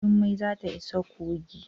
Jummai za ta isa coci.